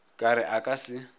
ka re a ka se